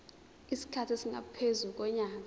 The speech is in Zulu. isikhathi esingaphezu konyaka